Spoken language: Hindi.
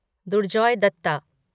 दुर्जॉय दत्ता